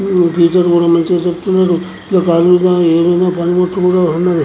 ఏమేమో పని ముట్టలు ఉన్నాయ్ --